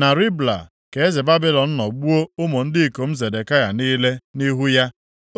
Na Ribla ka eze Babilọn nọ gbuo ụmụ ndị ikom Zedekaya niile, nʼihu ya,